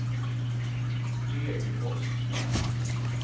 Degerfors